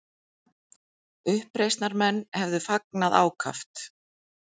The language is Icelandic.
Uppreisnarmenn hefðu fagnað ákaft